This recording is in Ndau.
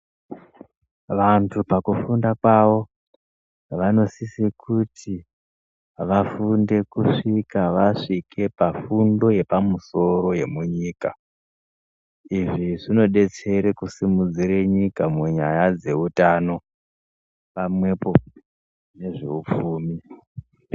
Vantu pakufunda kwavo vanosose kuti vafunde kusvika vasvike pafundo yepamusoro yemunyika. Izvi zvinobetsere kusimudzire nyika munyaya dzeutano pamwepo nezveupfumi.